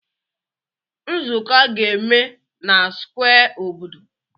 Nzuko a ga-eme na square obodo?